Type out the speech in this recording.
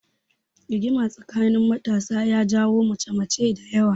Rigima tsakanin matasa ya janyo mace mace dayawa